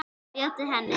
Bjóddu henni.